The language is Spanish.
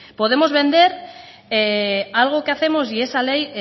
podemos vender algo que hacemos y esa ley